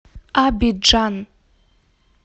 абиджан